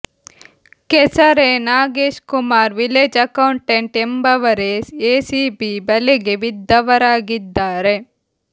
ಕೆಸರೆ Nagesh Kumar village accountant ಎಂಬವರೇ ಎಸಿಬಿ ಬಲೆಗೆ ಬಿದ್ದವರಾಗಿದ್ದಾರೆ